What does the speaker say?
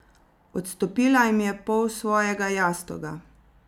Odstopila jim je pol svojega jastoga.